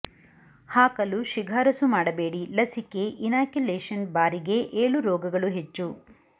ಹಾಕಲು ಶಿಫಾರಸು ಮಾಡಬೇಡಿ ಲಸಿಕೆ ಇನಾಕ್ಯುಲೇಷನ್ ಬಾರಿಗೆ ಏಳು ರೋಗಗಳು ಹೆಚ್ಚು